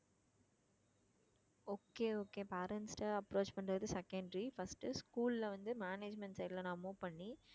okay okay parents ட்ட approach பண்றது secondary first school ல வந்து management side ல நான் move பண்ணி